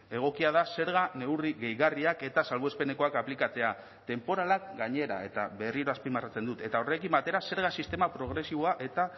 egokia da zerga neurri gehigarriak eta salbuespenekoak aplikatzea tenporalak gainera eta berriro azpimarratzen dut eta horrekin batera zerga sistema progresiboa eta